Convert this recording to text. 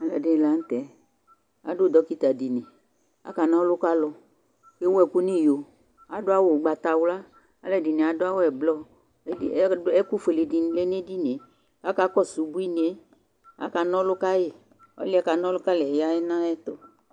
Ɔluɛ dini latɛ adu dɔkita dini aka nɔlu kalu éwu ɛku ni iyo adu awu ugbata wlă alu ɛdini adu awu ɛblɔ ɛku fuélé dini lɛ né édinié akakɔsu ubunié aka nɔlu kayi ɔluɛ kanɔlu kayiɛ ya na ayɛtu